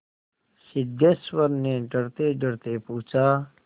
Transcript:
सिद्धेश्वर ने डरतेडरते पूछा